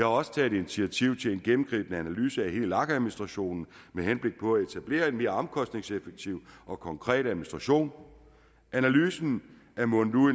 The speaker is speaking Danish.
også taget initiativ til en gennemgribende analyse af hele lag administrationen med henblik på at etablere en mere omkostningseffektiv og konkret administration analysen er mundet ud